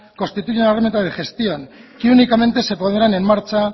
constituyen un elemento de gestión que únicamente se pondrán en marcha